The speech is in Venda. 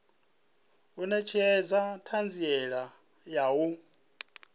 u netshedza thanziela ya u